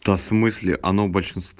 в смысле она